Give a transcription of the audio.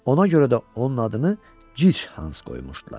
Ona görə də onun adını gic Hans qoymuşdular.